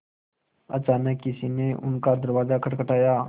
अचानक किसी ने उनका दरवाज़ा खटखटाया